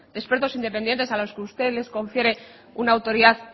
expertos independientes a los que usted les confiere una autoridad